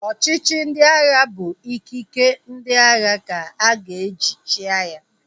Ọchịchị ndị agha bụ ikike ndị agha ka-aga eji chịa ya